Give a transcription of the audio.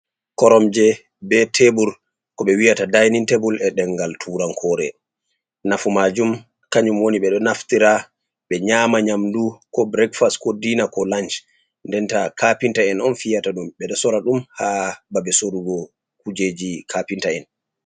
Koromje be tebur ko ɓe wiyata dainin tebul e deŋgal turankore. Nafu majum kanyum woni ɓe ɗo naftira be nyama nyamdu ko burekfas ko dina ko lanch. d Denta kapinta'en on fiyata dum ɓedo sora dum ha babe sorugo kujeji kapinta'en.